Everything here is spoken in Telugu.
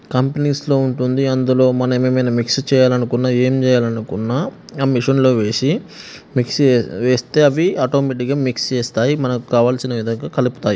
కంపెనీస్ లో ఉంటుంది అందులో మనం ఎమన్నా మిక్స్ చెయ్యాలనుకున్న ఏం చెయ్యాలనుకున్న ఆ మిషన్ లో వేసి మిక్స్ చేస్తే అవి ఆటోమేటిక్ గా మిక్స్ చేస్తాయి మనకు కావాల్సిన విధంగా కలుపుతాయి.